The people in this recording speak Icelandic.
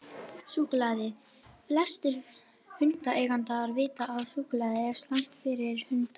Súkkulaði: Flestir hundaeigendur vita að súkkulaði er slæmt fyrir hunda.